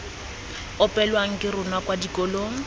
opelwang ke rona kwa dikolong